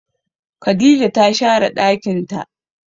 Khadijah ta share ɗakin ta.